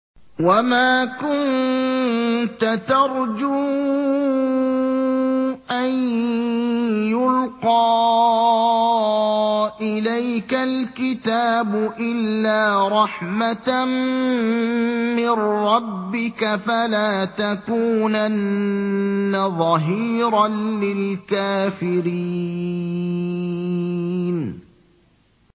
وَمَا كُنتَ تَرْجُو أَن يُلْقَىٰ إِلَيْكَ الْكِتَابُ إِلَّا رَحْمَةً مِّن رَّبِّكَ ۖ فَلَا تَكُونَنَّ ظَهِيرًا لِّلْكَافِرِينَ